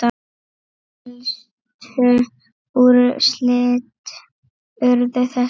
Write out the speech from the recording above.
Helstu úrslit urðu þessi